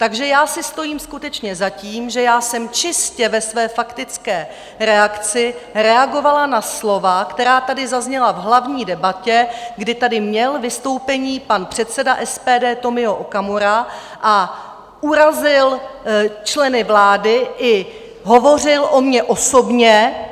Takže já si stojím skutečně za tím, že já jsem čistě ve své faktické reakci reagovala na slova, která tady zazněla v hlavní debatě, kdy tady měl vystoupení pan předseda SPD Tomio Okamura, urazil členy vlády i hovořil o mně osobně.